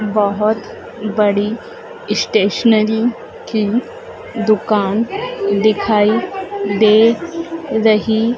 बहोत बड़ी स्टेशनरी की दुकान दिखाई दे रही--